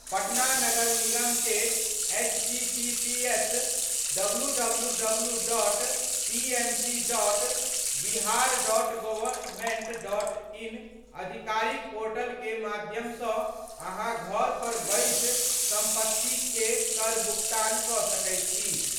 पटना नगर निगम के https://www.pmc.bihar.gov.in/ आधिकारिक पोर्टल के माध्यम सँ अहाँ घर पर बैसि संपत्ति कर के भुगतान कऽ सकय छी।